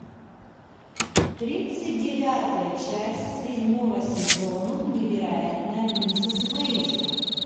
тридцать девятая часть седьмого сезона невероятная миссис мейзел